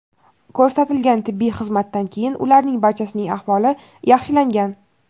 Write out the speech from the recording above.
Ko‘rsatilgan tibbiy xizmatdan keyin ularning barchasining ahvoli yaxshilangan.